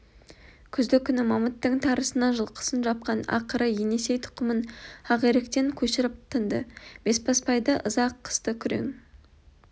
күзді күні мамыттың тарысына жылқысын жапқан ақыры енесей тұқымын ақиректен көшіріп тынды бесбасбайды ыза қысты күрең